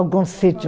Algum sítio